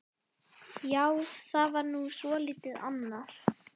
Já, það var nú svolítið annað.